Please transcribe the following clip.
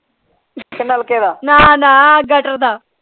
ਨਾ ਨਾ ਗਟਰ ਦਾ।